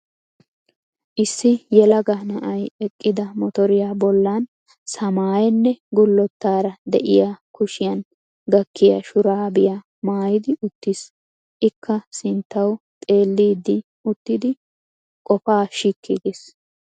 Issi yelaga na"ay eqqida motoriya bollan samaayenne gullottara diya kushiyan gakkiya shuraabiya maayidi uttis. Ikka sinttawu xelliiddi uttidi wogaa shikki giis.